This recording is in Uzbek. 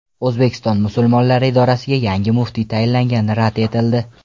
O‘zbekiston musulmonlari idorasiga yangi muftiy tayinlangani rad etildi.